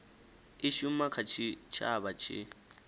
i shuma kha tshitshavha tshi